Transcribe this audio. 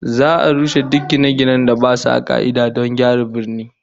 Za'a rushe duk gine-ginen da basu a ka'ida don gyara birnin